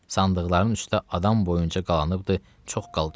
Sandıqların üstə adam boyunca qalanıbdır çox qalça,